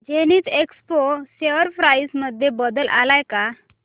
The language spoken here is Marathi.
झेनिथएक्सपो शेअर प्राइस मध्ये बदल आलाय का